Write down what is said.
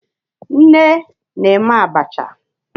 Nne na-eme abacha.